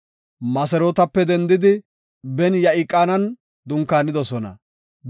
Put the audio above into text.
Moserootape dendidi Ben-Ya7iqanan dunkaanidosona.